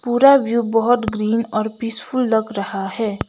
पूरा व्यू बहुत ग्रीन और पीसफुल लग रहा है।